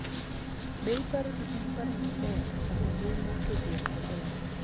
be iparo ni en paro maber chako mbui mar tudruok maber